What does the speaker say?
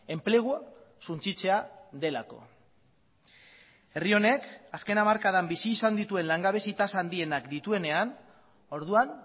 enplegua suntsitzea delako herri honek azken hamarkadan bizi izan dituen langabezi tasa handienak dituenean orduan